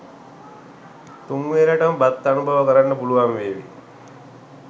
තුන් වේලට ම බත් අනුභව කරන්න පුළුවන් වේවි.